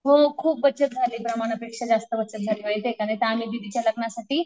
हो खूप बचत झाली प्रमाणापेक्षा जास्त बचत झाली बाई माहिती का नाहीतर आम्ही दीदीच्या लग्नासाठी